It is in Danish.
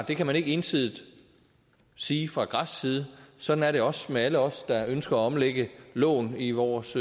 det kan man ikke ensidigt sige fra græsk side sådan er det også med alle os der ønsker at omlægge lån i vores